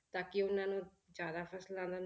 ਤਾਂ ਕਿ ਉਹਨਾਂ ਨੂੰ ਜ਼ਿਆਦਾ ਫਸਲਾਂ ਦਾ